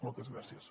moltes gràcies